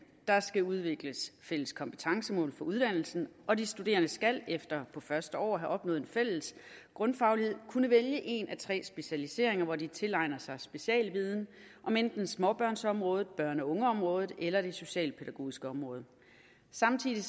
der skal udvikles fælles kompetencemål for uddannelsen og de studerende skal efter på første år at have opnået en fælles grundfaglighed kunne vælge en af tre specialiseringer hvor de tilegner sig specialviden om enten småbørnsområdet børn og unge området eller det socialpædagogiske område samtidig